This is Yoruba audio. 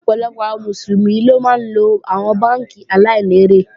Ọ̀pọ̀lọpọ̀ àwọn Mùsùlùmí ló máa ńlo àwọn bánkì aláìlérè